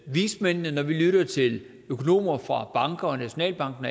vismændene og når vi lytter til økonomer fra banker og nationalbanken